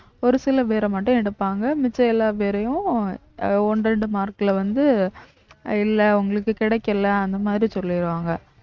ஒரு சில பேரை மட்டும் எடுப்பாங்க மிச்ச எல்லா பேரையும் அஹ் ஒண்ணு இரண்டு mark ல வந்து இல்ல உங்களுக்கு கிடைக்கல அந்த மாதிரி சொல்லிடுவாங்க